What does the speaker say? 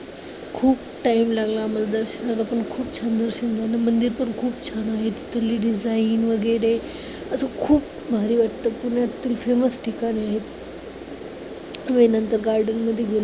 खूप time लागला आम्हाला दर्शनाला पण खूप छान दर्शन झालं. मंदिर पण खूप छान आहे. तिथं ladies line वगैरे असं खूप भारी वाटतं. पुण्यात तर ते famous ठिकाण आहे. garden मध्ये